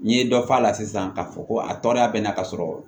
N'i ye dɔ f'a la sisan k'a fɔ ko a tɔɔrɔya bɛ na ka sɔrɔ